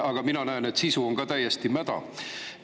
Aga mina näen, et sisu on ka täiesti mäda.